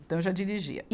Então eu já dirigia.